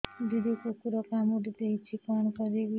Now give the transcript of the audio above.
ଦିଦି କୁକୁର କାମୁଡି ଦେଇଛି କଣ କରିବି